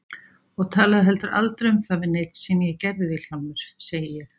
Og talaðu heldur aldrei um það við neinn sem ég gerði Vilhjálmur, segi ég.